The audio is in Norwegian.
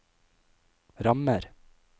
rammer